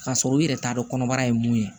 K'a sɔrɔ i yɛrɛ t'a dɔn kɔnɔbara ye mun ye